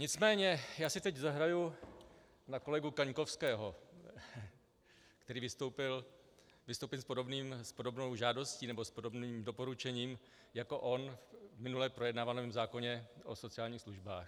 Nicméně já si teď zahraji na kolegu Kaňkovského, který vystoupil s podobnou žádostí nebo s podobným doporučením jako on v minule projednávaném zákoně o sociálních službách.